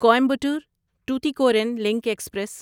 Coimbatore Tuticorin link express